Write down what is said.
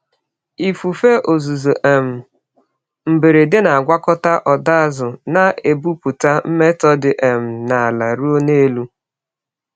Ifufe ozuzo um mberede na-agwakọta ọdọ azụ, na-ebupụta mmetọ dị um n’ala ruo n’elu.